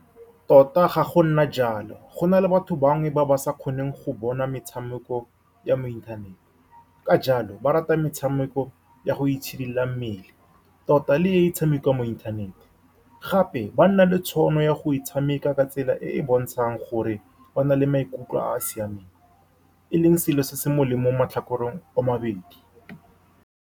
Tota, ga go a nna jalo. Gona le batho bangwe ba ba sa kgoneng go bona metshameko ya mo inthanete, ka jalo ba rata metshameko ya go itshidila mmele. Tota le e tshamekiwang mo inthanete gape, ba nna le tšhono ya go e tshameka ka tsela e e bontshang gore o na le maikutlo a a siameng, e leng selo se se molemo mo matlhakoreng a mabedi.